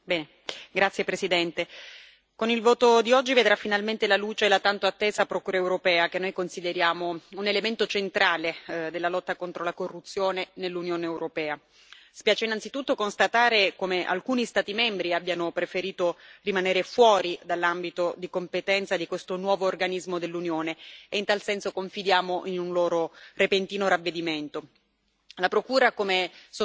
Signor presidente, onorevoli colleghi, con il voto di oggi vedrà finalmente la luce la tanto attesa Procura europea, che noi consideriamo un elemento centrale della lotta contro la corruzione nell'Unione europea. Spiace innanzitutto constatare come alcuni Stati membri abbiano preferito rimanere fuori dall'ambito di competenza di questo nuovo organismo dell'Unione e, in tal senso, confidiamo in un loro repentino ravvedimento.